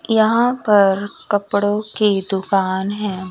यहां पर कपड़ों की दुकान है।